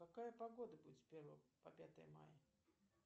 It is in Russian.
какая погода будет с первого по пятое мая